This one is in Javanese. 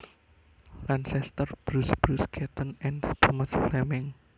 Lancaster Bruce Bruce Catton and Thomas Fleming